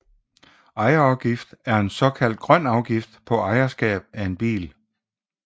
Ejerafgift er en såkaldt grøn afgift på ejerskab af bil